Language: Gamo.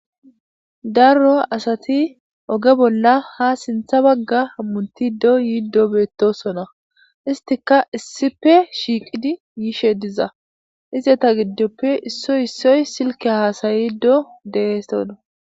darro asati oge bolla ha sintha bagga hammuntido yiiddo beettosona istika issife shiiqidi yishe diza izeta giddoppe issoy issoy silke haasayiddo de'osona